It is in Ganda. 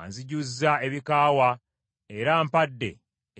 Anzijuzza ebikaawa era ampadde